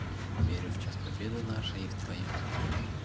верю в час победы нашей и в твою